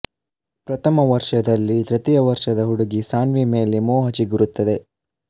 ಪ್ರಥಮ ವರ್ಷದಲ್ಲಿ ತೃತೀಯ ವರ್ಷದ ಹುಡುಗಿ ಸಾನ್ವಿ ಮೇಲೆ ಮೋಹ ಚಿಗುರುತ್ತದೆ